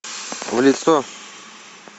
в лицо